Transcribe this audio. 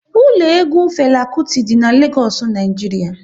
Ụlọ egwu Fela Kuti dị n'Legoosu, Naijiria